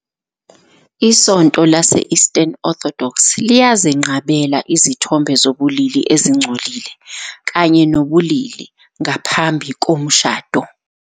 ISonto Lase-Eastern Orthodox liyazenqabela izithombe zobulili ezingcolile kanye nobulili ngaphambi komshado.